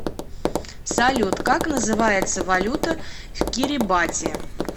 салют как называется валюта в кирибати